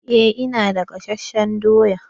Eh ina da gasasshen doya.